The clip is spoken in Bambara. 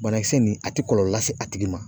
Banakisɛ nin ,a te kɔlɔlɔ lase a tigi ma.